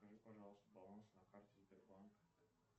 скажите пожалуйста баланс на карте сбербанк